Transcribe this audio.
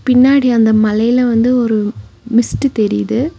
பின்னாடி அந்த மலையில வந்து ஒரு மிஸ்ட் தெரிது.